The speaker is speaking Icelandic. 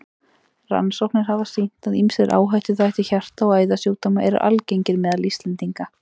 Rannsóknir hafa sýnt, að ýmsir áhættuþættir hjarta- og æðasjúkdóma eru algengir meðal Íslendinga.